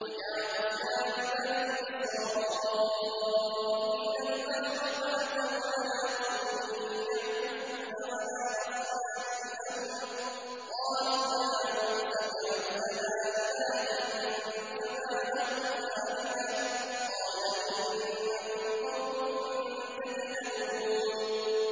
وَجَاوَزْنَا بِبَنِي إِسْرَائِيلَ الْبَحْرَ فَأَتَوْا عَلَىٰ قَوْمٍ يَعْكُفُونَ عَلَىٰ أَصْنَامٍ لَّهُمْ ۚ قَالُوا يَا مُوسَى اجْعَل لَّنَا إِلَٰهًا كَمَا لَهُمْ آلِهَةٌ ۚ قَالَ إِنَّكُمْ قَوْمٌ تَجْهَلُونَ